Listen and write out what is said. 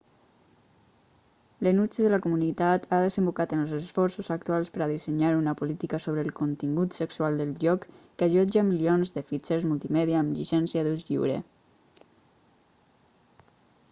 l'enuig de la comunitat ha desembocat en els esforços actuals per a dissenyar una política sobre el contingut sexual del lloc que allotja milions de fitxers multimèdia amb llicència d'ús lliure